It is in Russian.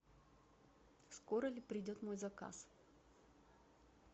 скоро ли придет мой заказ